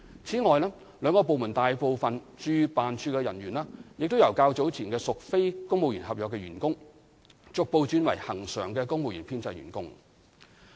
此外，兩個部門大部分駐聯辦處的人員，亦由較早前屬非公務員合約員工，逐步轉為恆常的公務員編制員工。